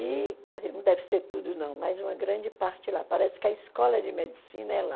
E não deve ser tudo não, mas uma grande parte lá, parece que a escola de medicina é lá.